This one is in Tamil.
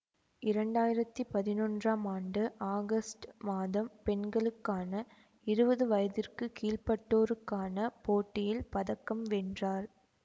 இரண்டு ஆயிரத்தி பதினொன்றாம் ஆண்டு ஆகஸ்டு மாதம் பெண்களுக்கான இருவது வயதிற்கு கீழ்ப்பட்டோருக்கான போட்டியில் பதக்கம் வென்றார்